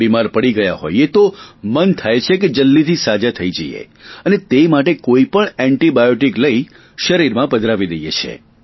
બીમાર પડી ગયા હોઇએ તો મન થાય છે કે જલ્દીથી સાજા થઇ જઇએ અને તે માટે કોઈ પણ એન્ટિબાયોટિક લઇ શરીરમાં પધરાવી દઇએ છીએ